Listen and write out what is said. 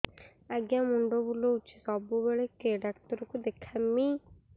ଆଜ୍ଞା ମୁଣ୍ଡ ବୁଲାଉଛି ସବୁବେଳେ କେ ଡାକ୍ତର କୁ ଦେଖାମି